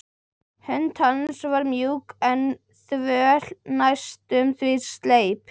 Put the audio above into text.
Hönd hans var mjúk en þvöl, næstum því sleip.